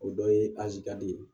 O dɔ ye aje ka di